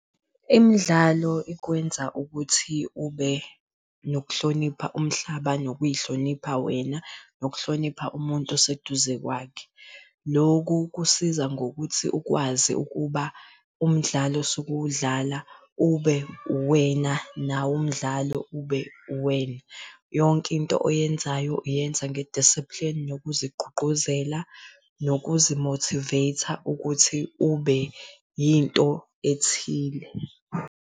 Imdlalo ikwenza ukuthi ube nokuhlonipha umhlaba nokuy'hlonipha wena, nokuhlonipha umuntu oseduze kwakhe. Loku kusiza ngokuthi ukwazi ukuba umdlalo osuke uwudlala ube uwena, nawo umdlalo ube uwena. Yonke into oyenzayo uyenza nge-discipline nokuzigqugquzela nokuzi mothiveytha ukuthi ube into ethile.